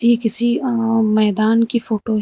ये किसी अं मैदान की फोटो है।